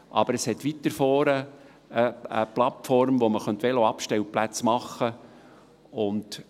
Aber es hat weiter vorne eine Plattform, auf der man Veloabstellplätze errichten könnte.